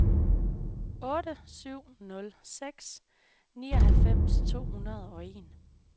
otte syv nul seks nioghalvfems to hundrede og en